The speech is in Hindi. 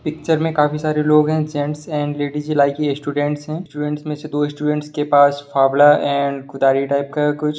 पिक्चर में काफी सारे लोग हैं gents and ladies like student है स्टूडेंट में से दो स्टूडेंट्स के पास फावड़ा और एंड कुदारी टाइप का कुछ--